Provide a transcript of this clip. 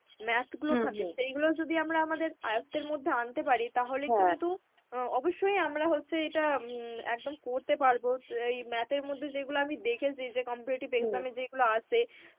math গুলো থাকে সেইগুলো যদি আমরা আমাদের আয়ত্বের মধ্যে আনতে পারি তাহলে কিন্তু অ্যাঁ অবশ্যই আমরা হচ্ছে এটা একদম করতে পারব. এই math এর মধ্যে যেগুলো আমি দেখেছি যে comperative exam এ যেইগুলো আসে